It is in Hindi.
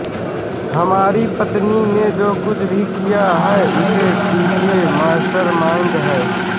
हमारी पत्नी ने जो कुछ भी किया है उसके पीछे मास्टरमाइंड है